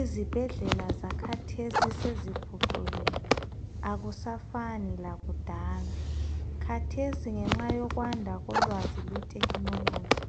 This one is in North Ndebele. Izibhedlela zakhathesi seziphucukile akusafani lakudala. Khathesi ngenxa yokwanda kolwazi lwe technology